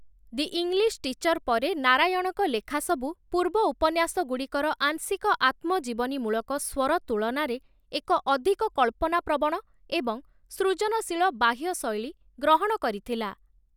ଦି English teacher' ପରେ ନାରାୟଣଙ୍କ ଲେଖା ସବୁ ପୂର୍ବ ଉପନ୍ୟାସଗୁଡ଼ିକର ଆଂଶିକ-ଆତ୍ମଜୀବନୀମୂଳକ ସ୍ୱର ତୁଳନାରେ ଏକ ଅଧିକ କଳ୍ପନାପ୍ରବଣ ଏବଂ ସୃଜନଶୀଳ ବାହ୍ୟ ଶୈଳୀ ଗ୍ରହଣ କରିଥିଲା ।